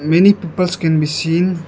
Many peoples can be seen.